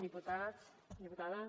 diputats diputades